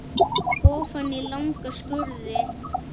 Ofan í langa skurði.